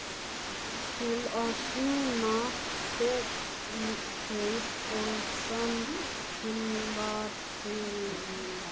Til að sýna þegnskap og samstarfsvilja.